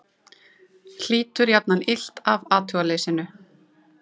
Hlýtur jafnan illt af athugaleysinu.